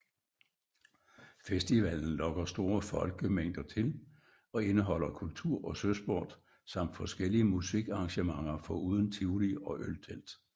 Festivalen lokker store folkemængder til og indeholder kultur og søsport samt forskellige musikarrangementer foruden tivoli og øltelt